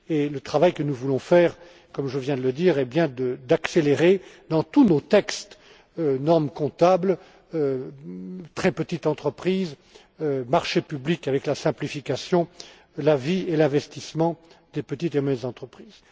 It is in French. Le travail que nous voulons faire, comme je viens de le dire, est bien d'accélérer, dans tous nos textes, normes comptables, très petites entreprises, marchés publics avec la simplification, l'activité et l'investissement dans les petites et moyennes entreprises.